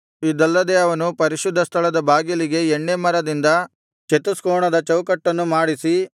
ಇದಲ್ಲದೆ ಅವನು ಪರಿಶುದ್ಧ ಸ್ಥಳದ ಬಾಗಿಲಿಗೆ ಎಣ್ಣೇ ಮರದಿಂದ ಚತುಷ್ಕೋಣದ ಚೌಕಟ್ಟನ್ನು ಮಾಡಿಸಿ